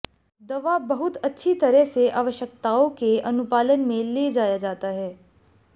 दवा बहुत अच्छी तरह से आवश्यकताओं के अनुपालन में ले जाया जाता है